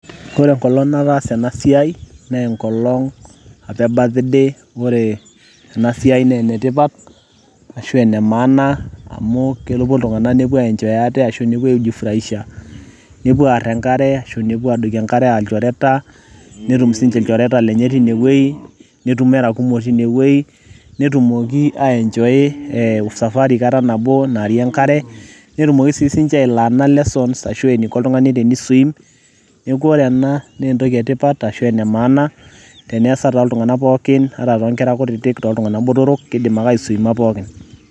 Ore enkolong nataasa ena siai naa enkolong' apa e birthday ore ena siai naa enetipat ashu aa ene maana amu kepuo iltung'anak ai enjoy ate ashu nepuo aijifuraisha nepuo aarr enkare nepuo aadoiki enkare enaa ilchoreta netum sininche ilchoreta lenye tinewueji, netumo era kumok tinewueji netumoki aienjoy usafari kata nabo naarie enkare netumoki sii ninche ailearna lesson ashu eniko oltung'ani teni swim. Neeku ore en a naa entoki etipat ashu ene maana teneesa toltung'anak pookin ata toonkera kutitik otultung'anak botorrok ,kiidimake ninche aswiima pookin.